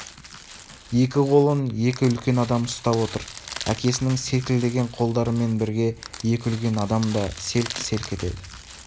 екі қолын екі үлкен адам ұстап отыр әкесінің селкілдеген қолдарымен бірге екі үлкен адам да селк-селк етеді